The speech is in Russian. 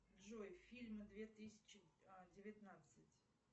джой фильмы две тысячи девятнадцать